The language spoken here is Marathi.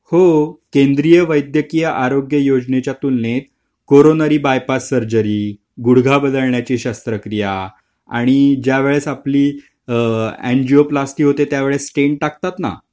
हो केंद्रीय वैद्यकीय आरोग्यच्या तुलनेत कोरोनरी बायपास सर्जरी गुढगा बदलण्याची शस्त्रक्रिया आणि ज्यावेळीस आपली एनजीओ प्लिस्टि होते त्यावेळस टेन्ट टाकतांना